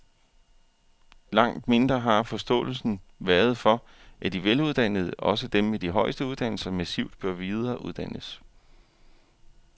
Langt mindre har forståelsen været for, at de veluddannede, også dem med de højeste uddannelser, massivt bør videreuddannes.